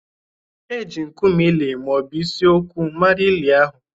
Eji nkume ili ma ọ bụ isi okwu mara ili ahụ